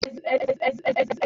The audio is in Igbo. Nwa ònye na-ebe akwa n'ụgbọelu a?